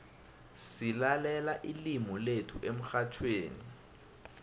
silalela ilimu lethu emxhatjhweni